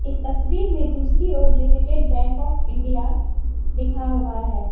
इस तस्वीर मे दूसरी ओर लिमिटेड बैंक ऑफ इंडिया लिखा हुआ है।